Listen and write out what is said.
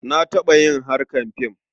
Na taɓa yin harkar fim.